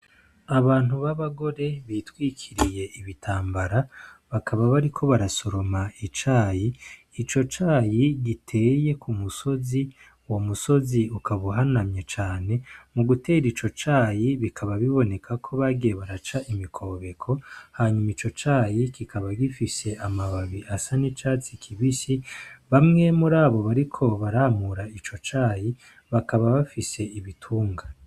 Abantu b'abagore bitwikiriye ibitambara bakaba bari ko barasoroma icayi ico cayi giteye ku musozi wo musozi ukabauhanamye cane mu gutera ico cayi bikaba biboneka ko bagiye baraca imikobeko hanyuma ico cayi kikaba gifishe amababi asa n'icatsi kibisi bamwe muri abo bariko baramura ico cayi bakaba bafise ibitunga.